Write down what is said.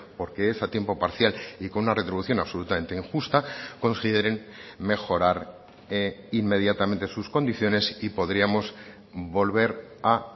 porque es a tiempo parcial y con una retribución absolutamente injusta consideren mejorar inmediatamente sus condiciones y podríamos volver a